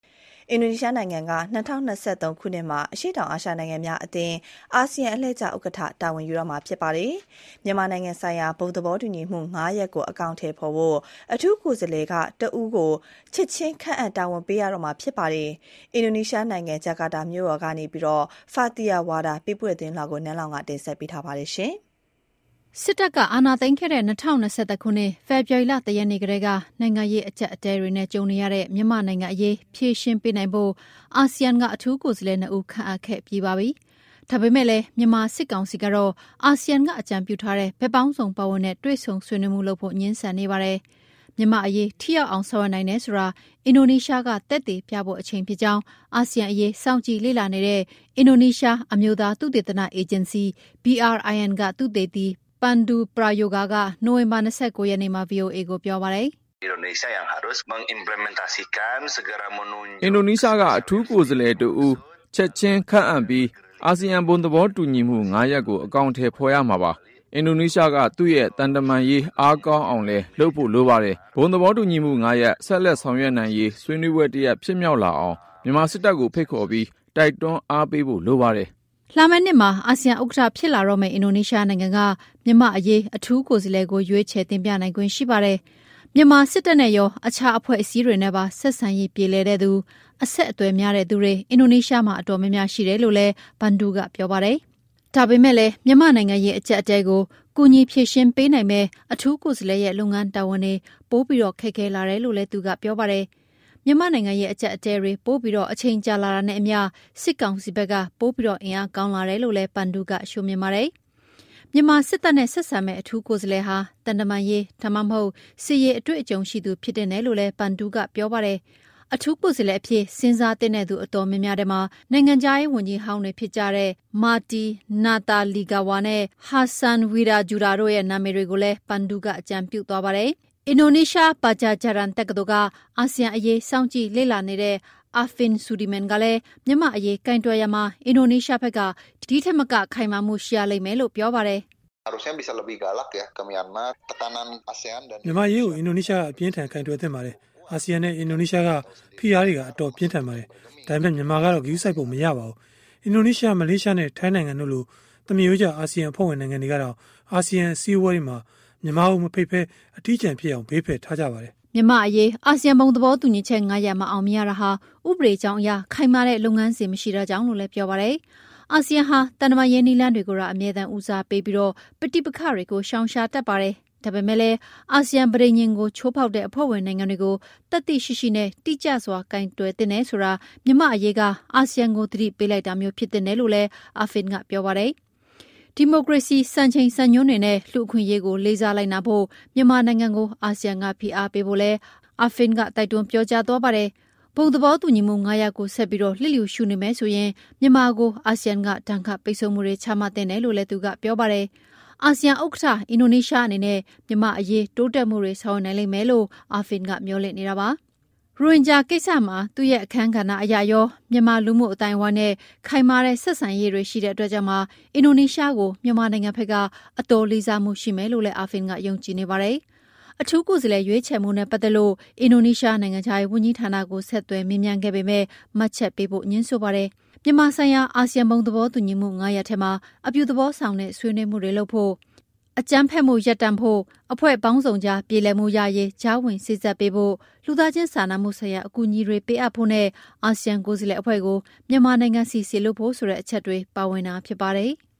အင်ဒိုနီးရှားနိုင်ငံက ၂၀၂၃ ခုနှစ်အတွက် အရှေ့တောင်အာရှနိုင်ငံများအသင်း အာဆီယံအလှည့်ကျ ဥက္ကဌ တာဝန်ယူတော့မှာပါ။ မြန်မာနိုင်ငံဆိုင်ရာ ဘုံသဘောတူညီမှု ၅ ရပ်ကို အကောင်အထည်ဖော်ဖို့ အထူးကိုယ်စားလှယ်က တဦးကို ချက်ချင်း ခန့်အပ်တာဝန်ပေးရတော့မှာလည်း ဖြစ်ပါတယ်။ အင်ဒိုနီးရှားနိုင်ငံ ဂျကာတာကနေ Fathiyah Wardah ပေးပို့ထားတဲ့သတင်းလွှာကို နန်းလောင်ဝ်က ဆက်ပြီးတင်ပြမှာပါ။ စစ်တပ်က အာဏာသိမ်းခဲ့တဲ့ ၂၀၂၁ ခုနှစ် ဖေဖော်ဝါရီလ ၁ ရက်နေ့ကတည်းက နိုင်ငံရေး အကျပ်အတည်းတွေနဲ့ ကြုံနေရတဲ့ မြန်မာနိုင်ငံအရေး ဖြေရှင်းပေးနိုင်ဖို့ အာဆီယံက အထူးကိုယ်စားလှယ် ၂ ဦး ခန့်အပ်ခဲ့ပြီးပါပြီ။ ဒါပေမဲ့လည်း မြန်မာစစ်ကောင်စီကတော့ အာဆီယံက အကြံပြုထားတဲ့ ဘက်ပေါင်းစုံ ပါဝင်တဲ့ တွေ့ဆုံဆွေးနွေးမှု လုပ်ဖို့ ငြင်းဆန်နေပါတယ်။ မြန်မာ့အရေး ထိရောက်အောင် ဆောင်ရွက်နိုင်တယ်ဆိုတာ အင်ဒိုနီးရှားက သက်သေပြဖို့ အချိန်ဖြစ်ကြောင်း အာဆီယံအရေး စောင့်ကြည့်လေ့လာနေတဲ့ အင်ဒိုနီးရှား အမျိုးသား သုတေသနအေဂျင်စီ BRIN ကသုတေသီ Pandu Prayoga က နိုဝင်ဘာ ၂၉ ရက်နေ့မှာ ဗွီအိုအေကိုပြောပါတယ်။ “ အင်ဒိုနီးရှားက အထူးကိုယ်စားလှယ် တဦး ချက်ချင်းခန့်အပ်ပြီး အာဆီယံ ဘုံသဘောတူညီမှု ၅ ရပ်ကို အကောင်အထည် ဖော်ရမှာပါ။ အင်ဒိုနီးရှားက သူ့ရဲ့ သံတမန်ရေး အားကောင်းအောင်လည်း လုပ်ဖို့လိုပါတယ်။ ဘုံသဘောတူညီမှု ၅ ရပ် ဆက်လက် ဆောင်ရွက်နိုင်ရေး ဆွေးနွေးပွဲတရပ် ဖြစ်မြောက်လာအောင် မြန်မာစစ်တပ်ကို ဖိတ်ခေါ်ပြီး တိုက်တွန်းအားပေးဖို့လိုပါတယ်။ ” လာမယ့်နှစ်မှာ အာဆီယံ ဥက္ကဌဖြစ်လာမယ့် အင်ဒိုနီးရှားနိုင်ငံက မြန်မာ့အရေး အထူးကိုယ်စားလှယ်ကို ရွေးချယ်တင်ပြနိုင်ခွင့် ရှိပါတယ်။ မြန်မာစစ်တပ်နဲ့ရော အခြားအဖွဲ့အစည်းတွေနဲ့ပါ ဆက်ဆံရေး ပြေလည်တဲ့သူ၊ အဆက်အသွယ်များတဲ့လူတွေ အင်ဒိုနီးရှားမှာ အတော်များများ ရှိတယ်လို့လည်း Pandu ကပြောပါတယ်။ ဒါပေမဲ့လည်း မြန်မာ့နိုင်ငံရေး အကျပ်အတည်းကို ကူညီဖြေရှင်းပေးနိုင်မယ့် အထူးကိုယ်စားလှယ်ရဲ့ လုပ်ငန်းတာဝန်တွေပိုပြီး ခက်ခဲလာတယ်လို့လည်း သူကပြောပါတယ်။ မြန်မာ့နိုင်ငံရေး အကျပ်အတည်းတွေ ပိုပြီး အချိန်ကြာလာတာနဲ့ အမျှ စစ်ကောင်စီဖက်က ပိုပြီး အင်အားကောင်းလာတယ်လို့လည်း Pandu ကမြင်ပါတယ်။ မြန်မာစစ်တပ်နဲ့ ဆက်ဆံမယ့် အထူးကိုယ်စားလှယ်ဟာ သံတမန်ရေး ဒါမှမဟုတ် စစ်ရေး အတွေ့အကြုံရှိသူ ဖြစ်သင့်တယ်လို့လည်း Pandu ကပြောပါတယ်။ အထူးကိုယ်စားလှယ်အဖြစ် စဉ်းစားသင့်တဲ့သူ အတော်များများထဲမှာ နိုင်ငံခြားရေး ဝန်ကြီးဟောင်းတွေဖြစ်တဲ့ Marty Natalegawa နဲ့ Hassan Wirajuda တို့ရဲ့နာမည်တွေကိုလည်း Pandu ကအကြံပြုသွားပါတယ်။ အင်ဒိုနီးရှား Padjadjaran တက္ကသိုလ်က အာဆီယံအရေး စောင့်ကြည့်လေ့လာနေတဲ့ Arfin Sudirman ကလည်း မြန်မာ့အရေး ကိုင်တွယ်ရာမှာ အင်ဒိုနီးရှားဖက်က ဒီထက်မက ခိုင်မာမှုှ ရှိရလိမ့်မယ်လို့ ပြောပါတယ်။ “ မြန်မာကိစ္စကို အင်ဒိုနီးရှားက အပြင်းအထန် ကိုင်တွယ်သင့်ပါတယ်။ အာဆီယံနဲ့ အင်ဒိုနီးရှားက ဖိအားတွေက အတော်ပြင်းထန်ပါတယ်။ ဒါပေမဲ့ မြန်မာကတော့ ဂရုစိုက်ပုံမရပါဘူး။ အင်ဒိုနီးရှားနဲ့ မလေးရှားနဲ့ ထိုင်းနိုင်ငံတို့လို သမားရိုးကျ အာဆီယံအဖွဲ့ဝင် နိုင်ငံတွေကတောင် အာဆီယံ အစည်းအဝေးတွေမှာ မြန်မာကို မဖိတ်ဘဲ အထီးကျန်ဖြစ်အောင် ဘေးဖယ်ထားကြပါတယ်။ ” မြန်မာ့အရေး အာဆီယံ ဘုံသဘောတူညီချက် ၅ ရပ် မအောင်မြင်ရတာဟာ ဥပဒေကြောင်းအရ ခိုင်မာတဲ့ လုပ်ငန်းစဉ် မရှိတာကြောင့်လို့လည်း ပြောပါတယ်။ အာဆီယံဟာ သံတမန်ရေး နည်းလမ်းကိုသာ အမြဲဦးစားပေးပြီး ပဋိပက္ခတွေကို ရှောင်ရှားတတ်ပါတယ်။ ဒါပေမဲ့လည်း အာဆီယံပဋိဉာဉ်ကို ချိုးဖောက်တဲ့ အဖွဲ့ဝင်နိုင်ငံတွေကို သတ္တိရှိရှိနဲ့ တိကျစွာ ကိုင်တွယ်သင့်တယ်ဆိုတာ မြန်မာ့အရေးက အာဆီယံကို သတိပေးလိုက်တာမျိုး ဖြစ်သင့်တယ် လို့ Arfin ကပြောပါတယ်။ ဒီမိုကရေစီ စံချိန်စံညွှန်းတွေနဲ့ လူ့အခွင့်အရေးကို လေးစားလိုက်နာဖို့ မြန်မာနိုင်ငံကို အာဆီယံက ဖိအားပေးဖို့လည်း Arfin က တိုက်တွန်းပြောကြားသွားပါတယ်။ ဘုံသဘောတူညီမှု ၅ ရပ်ကိုဆက်ပြီး လစ်လျူရှု နေမယ်ဆိုရင် မြန်မာကို အာဆီယံက ဒဏ်ခတ်ပိတ်ဆို့မှုတွေ ချမှတ်သင့်တယ်လို့လည်း Arfin ကပြောပါတယ်။ အာဆီယံ ဥက္ကဌ အင်ဒိုနီးရှား အနေနဲ့ မြန်မာ့အရေး တိုးတက်မှုတွေ ဆောင်ရွက်နိုင်လိမ့်မယ်လို့ Arfin ကမေ ျှာ်လင့်နေတာပါ။ ရိုဟင်ဂျာ ကိစ္စမှာ သူ့ရဲ့ အခန်းကဏ္ဍ အရရော မြန်မာလူမှု အသိုင်းအဝိုင်းနဲ့ ခိုင်မာတဲ့ ဆက်ဆံရေးရှိတဲ့ အတွက်ကြောင့်ပါ အင်ဒိုနီးရှားကို မြန်မာနိုင်ငံဖက်က အတော်လေးစားမှု ရှိမယ်လို့လည်း Arfin က ယုံကြည်နေပါတယ်။ အထူး ကိုယ်စားလှယ် ရွေးချယ်မှုနဲ့ပတ်သက်လို့ အင်ဒိုနီးရှား နိုင်ငံခြားရေး ဝန်ကြီးဌာနကို ဆက်သွယ်မေးမြန်းခဲ့ပေမဲ့ မှတ်ချက်ပေးဖို့ ငြင်းဆိုပါတယ်။ မြန်မာဆိုင်ရာ အာဆီယံဘုံသဘောတူညီမှု ၅ ရပ်ထဲမှာ အပြုသဘောဆောင်တဲ့ ဆွေးနွေးမှုလုပ်ဖို့၊ အကြမ်းဖက်မှုလေ ျှာ့ချဖို့၊ အဖွဲ့ပေါင်းစုံကြား ပြေလည်မှုရရေး ကြားဝင်စေ့စပ်ပေးဖို့၊ လူသားချင်းစာနာမှုဆိုင်ရာ အကူအညီတွေ ပေးအပ်ဖို့နဲ့ အာဆီယံ ကိုယ်စားလှယ်အဖွဲ့ကို မြန်မာနိုင်ငံဆီ စေလွှတ်ဖို့ ဆိုတဲ့အချက်တွေ ပါဝင်တာဖြစ်ပါတယ်။